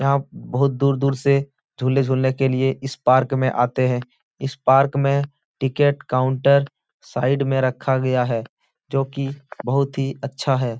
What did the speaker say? यहाँ बहुत दूर- दूर से झूले झूलने के लिये इस पार्क में आते है इस पार्क में टिकट काउंटर साइड में रखा गया है जोकि बहुत ही अच्छा हैं।